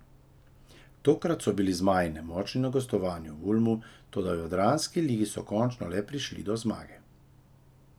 Tokrat so bili zmaji nemočni na gostovanju v Ulmu, toda v jadranski ligi so končno le prišli do zmage.